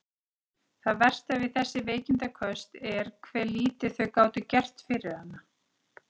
Það versta við þessi veikindaköst var hve lítið þau gátu gert fyrir hana.